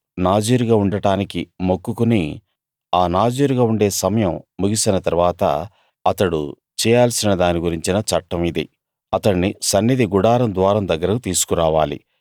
నాజీరుగా ఉండటానికి మొక్కుకుని ఆ నాజీరుగా ఉండే సమయం ముగిసిన తరువాత అతడు చేయాల్సిన దాని గురించిన చట్టం ఇది అతణ్ణి సన్నిధి గుడారం ద్వారం దగ్గరకి తీసుకురావాలి